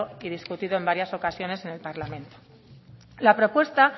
y discutido en varias ocasiones en el parlamento la propuesta